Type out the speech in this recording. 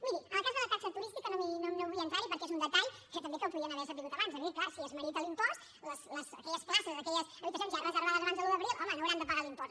miri en el cas de la taxa turística no vull entrar hi perquè és un detall que també el podien haver sabut abans és clar si es merita l’impost aquelles places aquelles habitacions ja reservades abans de l’un d’abril home no hauran de pagar l’impost